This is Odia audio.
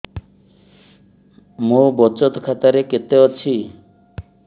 ମୋ ବଚତ ଖାତା ରେ କେତେ ଅଛି